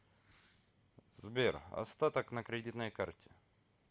сбер остаток на кредитной карте